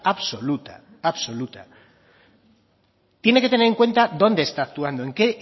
absoluta absoluta tiene que tener en cuenta dónde está actuando en qué